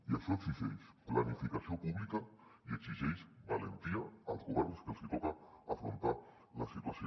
i això exigeix planificació pública i exigeix valentia als governs que els hi toca afrontar la situació